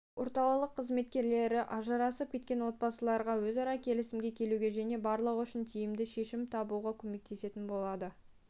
орталық қызметкерлері ажырасып кеткен отбасыларға өзара келісімге келуге және барлығы үшін тиімді шешім табуға көмектесетін болады